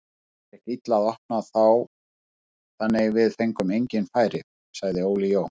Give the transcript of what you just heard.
Það gekk illa að opna þá þannig við fengum engin færi, sagði Óli Jó.